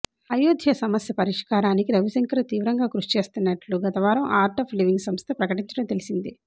అయోధ్య సమస్య పరిష్కారానికి రవిశంకర్ తీవ్రంగా కృషి చేస్తన్నట్టు గతవారం ఆర్ట్ ఆఫ్ లివింగ్ సంస్థ ప్రకటించడం తెలిసిందే